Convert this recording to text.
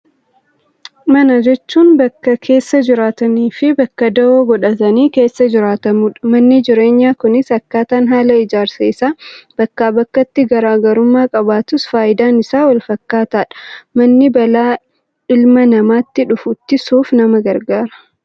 Mana jechuun bakka keessa jiraatanii fi bakka dawoo godhatanii keessa jiraatamudha. Manni jireenyaa kunis akkaataan haala ijaarsa isaa bakkaa bakkatti garaagarummaa qabaatus fayidaan isaa wal fakkaataadha. Manni balaa ilma namaatti dhufu ittisuuf nama gargaara.